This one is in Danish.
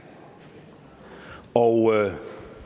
og